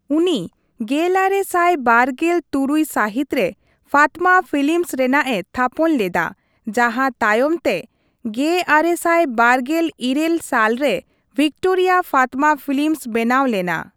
ᱩᱱᱤ ᱜᱮᱞᱟᱨᱮ ᱥᱟᱭ ᱵᱟᱨᱜᱮᱞ ᱛᱩᱨᱩᱭ ᱥᱟᱹᱦᱤᱛ ᱨᱮ, ᱯᱷᱟᱛᱢᱟ ᱯᱷᱤᱞᱤᱢᱚᱥ ᱨᱮᱱᱟᱜᱼᱮ ᱛᱷᱟᱯᱚᱱ ᱞᱮᱫᱟ, ᱡᱟᱸᱦᱟ ᱛᱟᱭᱚᱢ ᱛᱮ ᱑᱙᱒᱘ ᱥᱟᱞ ᱨᱮ ᱵᱷᱤᱠᱴᱳᱨᱤᱭᱟᱼᱯᱷᱟᱛᱢᱟ ᱯᱷᱤᱞᱤᱢᱚᱥ ᱵᱮᱱᱟᱣ ᱞᱮᱱᱟ ᱾